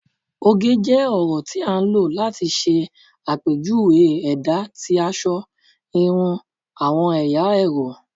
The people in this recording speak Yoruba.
oge jẹ ọrọ ti a lo lati ṣe apejuwe ẹda ti aṣọ, irun, awọn ẹya ẹrọ